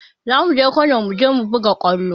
Za mu je Kano mu je mu buga kwallo